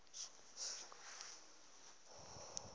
na le t hono e